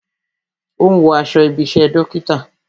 Ó ń wo aṣọ ibi isẹ dókítà